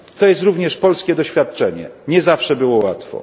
To jest również polskie doświadczenie, nie zawsze było łatwo.